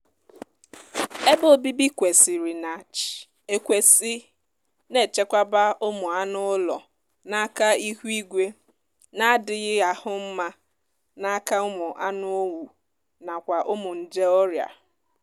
ebe obibi kwesịrị na ch ekwesị na-echekwaba ụmụa anụụlọ n'aka ihuigwe na-adịghị ahụ nma n'aka ụmụ anụowu nakwa ụmụ njeọria